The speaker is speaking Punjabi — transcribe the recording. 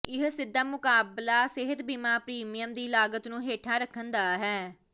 ਇਹ ਸਿੱਧਾ ਮੁਕਾਬਲਾ ਸਿਹਤ ਬੀਮਾ ਪ੍ਰੀਮੀਅਮ ਦੀ ਲਾਗਤ ਨੂੰ ਹੇਠਾਂ ਰੱਖਣ ਦਾ ਹੈ